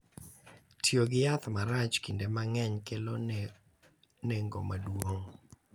Tiyo gi yath marach kinde mang’eny kelo nengo maduong’,